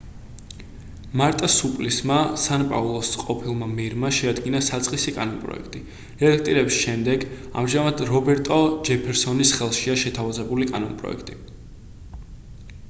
მარტა სუპლისმა სან პაულოს ყოფილმა მერმა შეადგინა საწყისი კანონპროექტი რედაქტირების შემდეგ ამჟამად რობერტო ჯეფერსონის ხელშია შეთავაზებული კანონპროექტი